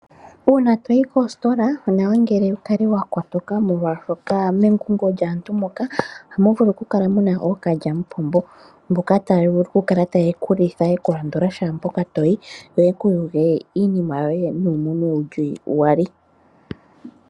Uuna toyi koositola onawa ngele wu kale wa kotoka molwaashoka mengungo lyaantu moka hamu vulu oku kala muna ookalyamupombo mboka taya vulu oku kala taye ku litha yeku landula shaampoka toyi yo yeku yuge iinima yoye nuumunwe wuli iyali.